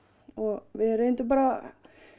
og við reyndum bara